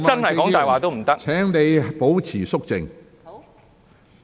毛孟靜議員，請你保持肅靜。